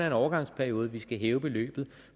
en overgangsperiode vi skal hæve beløbet